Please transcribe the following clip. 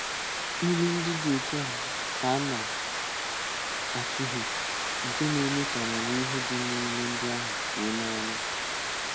Ìlù ndị dị otu a ka a na-atùhìe, nke na-eme ka amamihe dị n’ìlù ndị ahụ fùo n’anya.